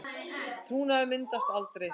Trúnaður myndaðist aldrei